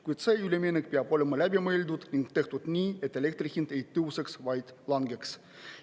Kuid see üleminek peab olema läbi mõeldud ning tehtud nii, et elektri hind ei tõuseks, vaid langeks.